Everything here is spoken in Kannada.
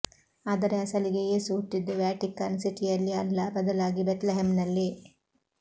ಆದರೆ ಅಸಲಿಗೆ ಯೇಸು ಹುಟ್ಟಿದ್ದು ವ್ಯಾಟಿಕನ್ ಸಿಟಿಯಲ್ಲಿ ಅಲ್ಲ ಬದಲಾಗಿ ಬೆತ್ಲೆಹೆಮ್ನಲ್ಲಿ